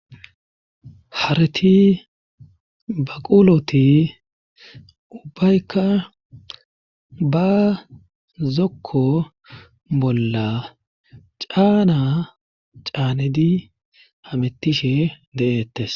Harti baquuloti ubbayka ba zokko bolla caana caanedi hamettishe de'ettes.